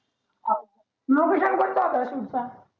location कोणता होता तुमचा